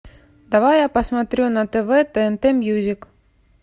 давай я посмотрю на тв тнт мьюзик